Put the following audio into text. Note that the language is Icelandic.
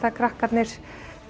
krakkarnir